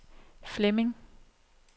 Flemming